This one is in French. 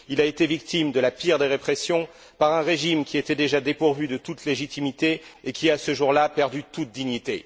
Il a été victime de la pire des répressions par un régime qui était déjà dépourvu de toute légitimité et qui a, ce jour là, perdu toute dignité.